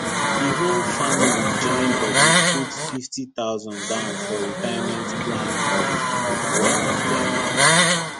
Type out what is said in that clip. the whole family join body put 50000 down for retirement plan of of one of dem